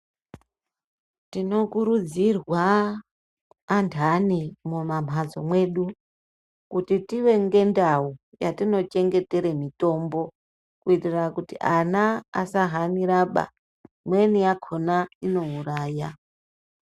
Tino kurudzirwa antani mumamhatso mwedu ,kuti tive ngendau yatinochengetere mitombo kuitira kuti ana asahaniraba. Imweni yakhona inouraya.